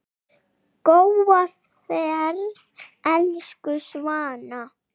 Góða ferð, elsku Svana.